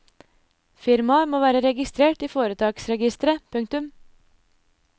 Firmaet må være registrert i foretaksregisteret. punktum